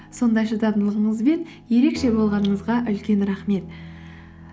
сондай шыдамдылығыңызбен ерекше болғаныңызға үлкен рахмет